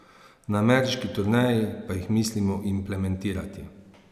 Na ameriški turneji pa jih mislimo implementirati.